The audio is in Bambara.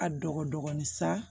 A dɔgɔnin sa